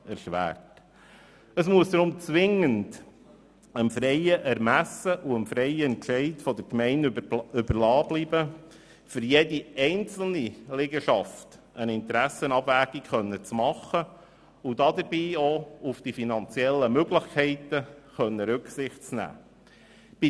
Es muss deshalb zwingend dem freien Ermessen und Entscheid der Gemeinde überlassen bleiben, für jede einzelne Liegenschaft eine Interessenabwägung vorzunehmen und dabei auch auf ihre finanziellen Möglichkeiten Rücksicht nehmen zu können.